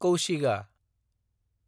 कौशिगा